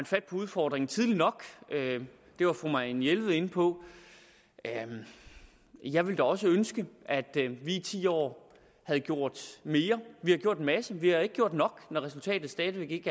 fat på udfordringen tidligt nok det var fru marianne jelved inde på jeg ville da også ønske at vi i ti år havde gjort mere vi har gjort en masse men vi har ikke gjort nok når resultatet stadig væk ikke